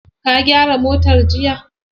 Ka gyara motar jiya?